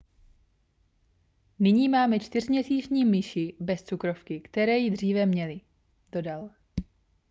nyní máme čtyřměsíční myši bez cukrovky které ji dříve měly dodal